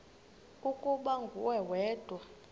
ukuba nguwe wedwa